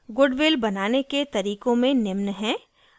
goodwill बनाने के तरीकों में निम्न हैं: